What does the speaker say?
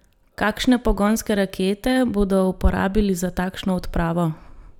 Kakšne pogonske rakete bodo uporabili za takšno odpravo?